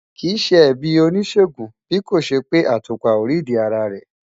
Kì í ṣe ẹ̀bi oníṣègùn bí kò ṣe pé àtùpà ò rídìí ara rẹ̀.